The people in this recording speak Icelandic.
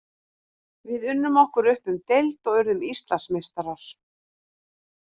Við unnum okkur upp um deild og urðum Íslandsmeistarar.